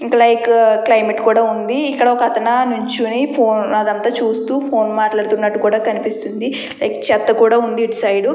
Like climate ఉంది. ఇక్కడ ఒక అతను నించొని ఫోన్ ఏదో చూస్తున్నాడు చెత్త కూడా ఉంది ఇటు సైడు .